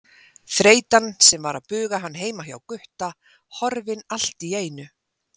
Þreytan sem var að buga hann heima hjá Gutta horfin allt í einu.